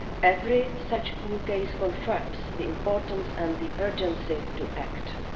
Every such new case confirms the importance and the urgency of acting.